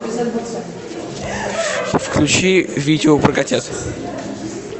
включи видео про котят